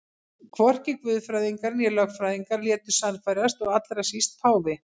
Hvorki guðfræðingar né lögfræðingar létu sannfærast og allra síst páfi.